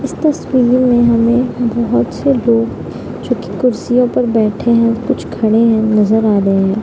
इस तस्वीर में हमे बोहोत से लोग जो की कुर्सिया पर बैठे है। कुछ खड़े है। नजर आ रहे है।